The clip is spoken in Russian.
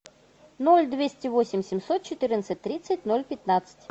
ноль двести восемь семьсот четырнадцать тридцать ноль пятнадцать